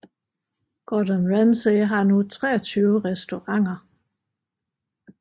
Gordon Ramsay har nu 23 restauranter